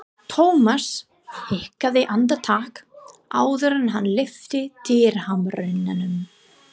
Thomas hikaði andartak áður en hann lyfti dyrahamrinum.